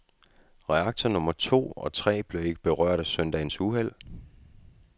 Reaktor nummer to og tre blev ikke berørt af søndagens uheld.